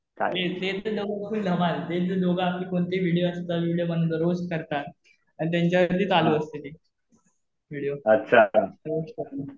ते तर दोघबी धमाल. ते दोघे आपलं कोणतेही व्हिडीओ असतात. व्हिडीओ बनवतात. रोस्ट करतात. आणि त्यांच्या वरती चालू असते ते व्हिडीओ रोस्ट करतात.